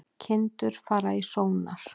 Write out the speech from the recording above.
Kindur fara í sónar